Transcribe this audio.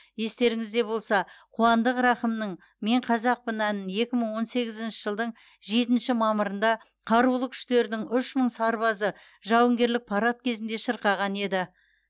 естеріңізде болса қуандық рақымның мен қазақпын әнін екі мың он сегізінші жылдың жетінші мамырында қарулы күштердің үш мың сарбазы жауынгерлік парад кезінде шырқаған еді